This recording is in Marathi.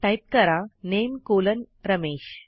टाईप करा नामे कॉलन रमेश